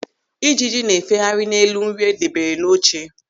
Ịjiji na-efegharị n'elu nri e debere n'oche.